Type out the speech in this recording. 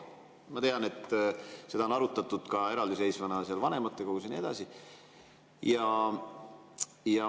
Ma tean, et seda on arutatud eraldiseisvana vanematekogus ja nii edasi.